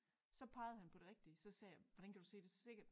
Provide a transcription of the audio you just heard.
Så pegede han på det rigtige så sagde jeg hvordan kan du se det så sikkert